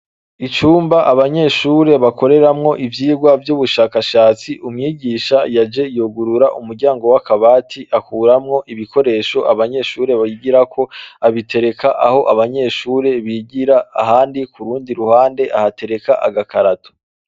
Icumba abanyeshure bakoreramwo ivyigwa vy'ubushakashatsi umwigisha yaje yugurura umuryango w'akabati akuramwo ibikoresho abanyeshure bigirako, abitereka aho abanyeshure bigira, ahandi ku rundi ruhande ahatereka agakarato.